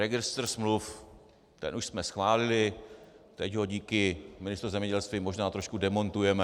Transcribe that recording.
Registr smluv - ten už jsme schválili, teď ho díky Ministerstvu zemědělství možná trošku demontujeme.